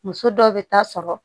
Muso dɔw bɛ taa sɔrɔ